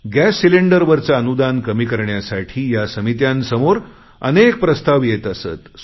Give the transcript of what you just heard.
gas सिलेंडरवरचे अनुदान कमी करण्यासाठी या समित्यांसमोर अनेक प्रस्ताव येत असत